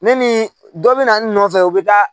Ne ni dɔ bɛ na n nɔfɛ u bɛ taa